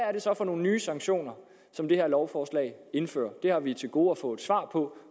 er det så for nogle nye sanktioner som det her lovforslag indfører det har vi til gode at få et svar på